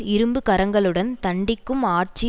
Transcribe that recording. இரும்பு கரங்களுடன் தண்டிக்கும் ஆட்சி